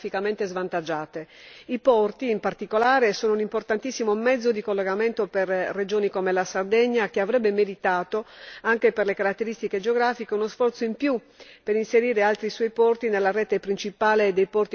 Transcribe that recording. I porti, in particolare, sono un importantissimo mezzo di collegamento per regioni come la Sardegna, che avrebbe meritato, anche per le sue caratteristiche geografiche, uno sforzo in più per inserire altri suoi porti nella rete principale dei porti dell'Unione.